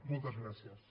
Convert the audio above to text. moltes gràcies